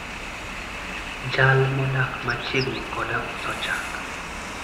jal modak machiegni koda uso chak